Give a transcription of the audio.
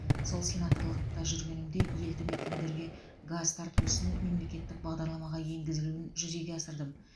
сол сенаторлықта жүргенімде елді мекендерге газ тарту ісін мемлекеттік бағдарламаға енгізілуін жүзеге асырдым